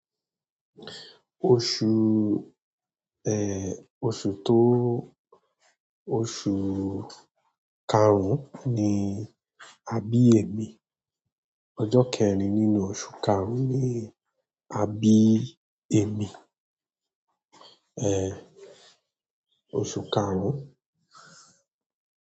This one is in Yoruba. Oṣù oṣù tó oṣù karùn ni àbí ẹmi. Ọjọ kẹrin nínú oṣù karùn ni a bí ẹmi. Oṣù karùn.